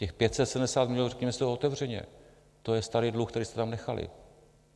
Těch 570 milionů, řekněme si to otevřeně, to je starý dluh, který jste tam nechali.